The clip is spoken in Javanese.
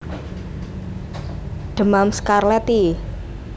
Demam skarlet i